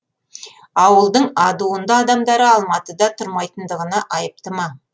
ауылдың адуынды адамдары алматыда тұрмайтындығына айыпты ма